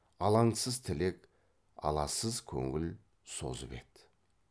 алаңсыз тілек аласыз көңіл созып еді